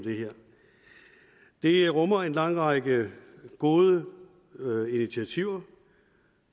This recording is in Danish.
det rummer en lang række gode initiativer